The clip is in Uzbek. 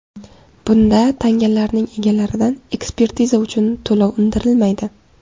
Bunda tangalarning egalaridan ekspertiza uchun to‘lov undirilmaydi.